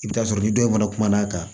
I bɛ t'a sɔrɔ ni dɔ in fana kumana kan